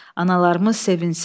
Analarımız sevinsin.